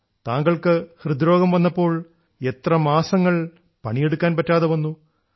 താങ്കൾക്ക് ഹൃദ്രോഗം വന്നപ്പോൾ താങ്കൾക്ക് എത്ര മാസങ്ങൾ പണിയെടുക്കാൻ പറ്റാതെ വന്നു